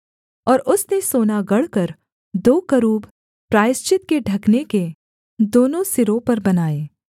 और उसने सोना गढ़कर दो करूब प्रायश्चित के ढकने के दोनों सिरों पर बनाए